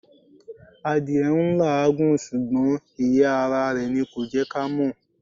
Adìẹ n làágùn sùgbón ìyẹ́ ara rè ni kò jẹ́ ká mọ́